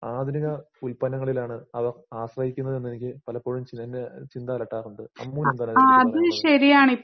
ആധുനിക ഉല്പന്നങ്ങളിലാണ് അവ ആശ്രയിക്കുന്നത്‌ന്നെനിക്ക് പലപ്പോഴും ചിലങ്ക ചിന്തഅലട്ടാറുണ്ട്. അമ്മുവിനെന്താണ് ഇതിനെപറ്റി പറയാനുള്ളത്?